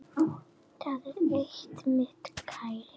Það er eitt, minn kæri.